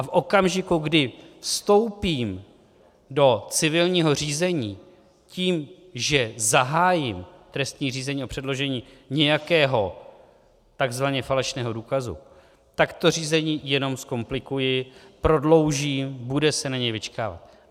A v okamžiku, kdy vstoupím do civilního řízení tím, že zahájím trestní řízení o předložení nějakého takzvaně falešného důkazu, tak to řízení jenom zkomplikuji, prodloužím, bude se na něj vyčkávat.